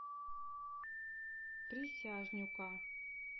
присяжнюка